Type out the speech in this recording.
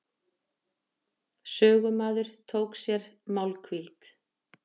Sögumaður tók sér málhvíld.